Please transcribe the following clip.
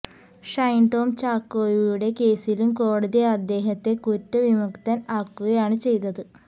ഷൈൻ ടോം ചാക്കോയുടെ കേസിലും കോടതി അദ്ദേഹത്തെ കുറ്റ വിമുക്തൻ ആക്കുകയാണ് ചെയ്തത്